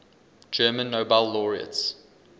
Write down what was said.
german nobel laureates